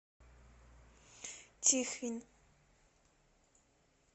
тихвин